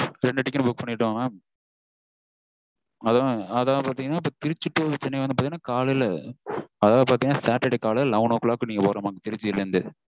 ரெண்டு ticket ம் book பண்ணிட்டன் mam அதாவது பாத்தீங்கனா திருச்சி to சென்னை வாந்து பாத்தீங்கனா காலைல அதாவது பாத்தீங்கணா saturday காலைல eleven o'clock நீங்க வரனும் திருச்சில இருந்து